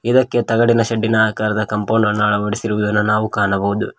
ಇದಕ್ಕೆ ತಗಡಿನ ಶೆಡ್ಡಿನ ಆಕಾರದ ಕಾಂಪೌಂಡ್ ಅನ್ನ ಅಳವಡಿಸಿರುವುದನ್ನು ನಾವು ಕಾಣಬಹುದು.